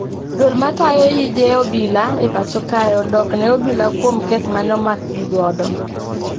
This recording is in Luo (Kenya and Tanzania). Duol matayo yije obila e pacho kae odok ne obila kuom kes mane omakgi godo